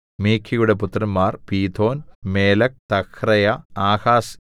മീഖയുടെ പുത്രന്മാർ Pithon Melech Tahrea Ahaz